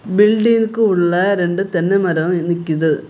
Building உள்ள ரெண்டு தென்னெ மரம் நிக்குது.